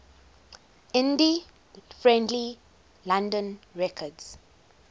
indie friendly london records